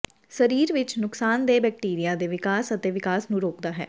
ਸਰੀਰ ਵਿੱਚ ਨੁਕਸਾਨਦੇਹ ਬੈਕਟੀਰੀਆ ਦੇ ਵਿਕਾਸ ਅਤੇ ਵਿਕਾਸ ਨੂੰ ਰੋਕਦਾ ਹੈ